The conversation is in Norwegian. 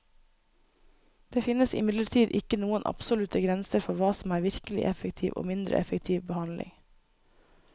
Det finnes imidlertid ikke noen absolutte grenser for hva som er virkelig effektiv og mindre effektiv behandling.